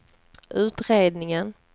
utredningen